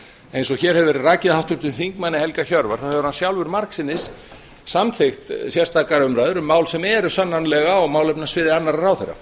eins og hér hefur verið rakið af háttvirtum þingmanni helga hjörvar þá hefur hann sjálfur þar sinnis samþykkt sérstakar umræður um mál sem eru sannanlega á málefnasviði annarra ráðherra